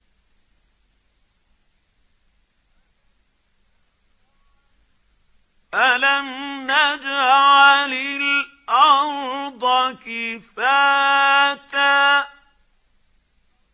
أَلَمْ نَجْعَلِ الْأَرْضَ كِفَاتًا